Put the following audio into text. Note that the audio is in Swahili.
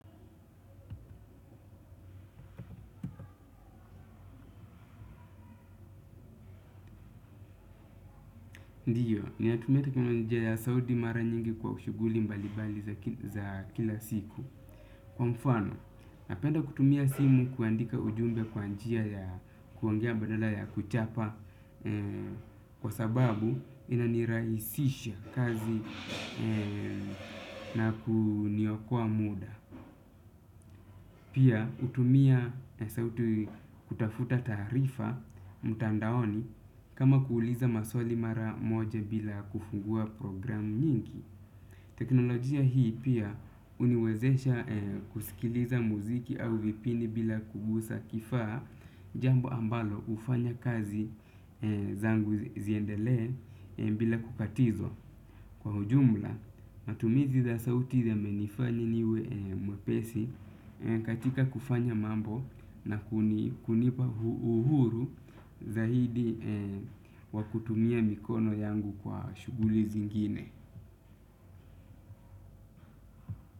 Ndiyo, ninatumia teknolojia sauti mara nyingi kwa shughuli mbali bali za kila siku. Kwa mfano, napenda kutumia simu kuandika ujumbe kwa njia ya kuongea badala ya kuchapa kwa sababu inanirahisisha kazi na kuniokoa muda. Pia hutumia sauti kutafuta tarifa mtandaoni kama kuuliza maswali mara moja bila kufungua programu nyingi. Teknolojia hii pia huniwezesha kusikiliza muziki au vipindi bila kugusa kifaa jambo ambalo hufanya kazi zangu ziendelee bila kukatizwa. Kwa ujumla, matumizi za sauti yamenifanya niwe mwepesi katika kufanya mambo na kunipa uhuru zaidi wa kutumia mikono yangu kwa shughuli zingine.